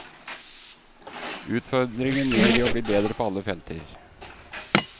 Utfordringen ligger i å bli bedre på alle felter.